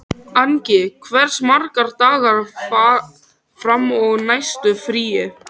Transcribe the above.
Angi, hversu margir dagar fram að næsta fríi?